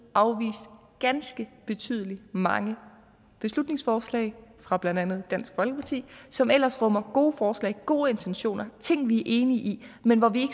afvist ganske betydelig mange beslutningsforslag fra blandt andet dansk folkeparti som ellers rummer gode forslag gode intentioner ting vi enige i men hvor vi